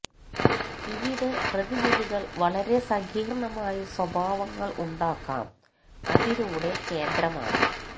ഇവിടെ പ്രതിനിധികൾ വളരെ സങ്കീർണമായ സ്വഭാവങ്ങൾ ഉണ്ടാക്കാം അതിലൂടെ കേന്ദ്രമാണ്